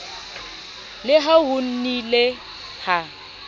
le ha ho nnile ha